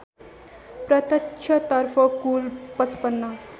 प्रत्यक्षतर्फ कुल ५५